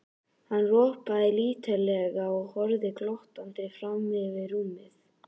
Hann ropaði lítillega og horfði glottandi fram yfir rúmið.